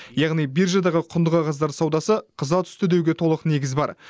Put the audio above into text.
яғни биржадағы құнды қағаздар саудасы қыза түсті деуге толық негіз бар